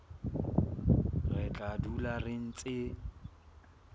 re tla dula re ntse